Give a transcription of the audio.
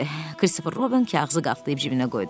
Christopher Robin kağızı qatlayıb cibinə qoydu.